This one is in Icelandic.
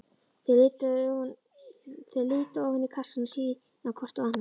Þau líta ofan í kassann og síðan hvort á annað.